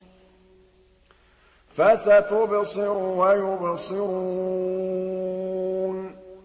فَسَتُبْصِرُ وَيُبْصِرُونَ